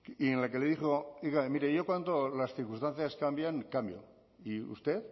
y en la que le dijo oiga mire mire yo cuando las circunstancias cambian cambio y usted